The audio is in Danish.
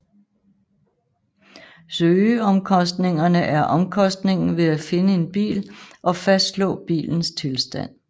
Søgeomkostningerne er omkostningen ved at finde en bil og fastslå bilens tilstand